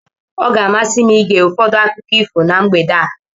Ọ ga-amasị m ige ụfọdụ akụkọ ifo na mgbede a.